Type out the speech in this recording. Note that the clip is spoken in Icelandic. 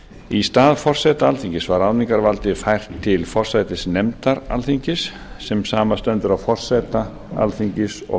í stað forseta alþingis var ráðningarvaldið fært til forsætisnefndar alþingis sem samanstendur af forseta alþingis og